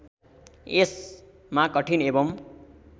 यसमा कठिन एवं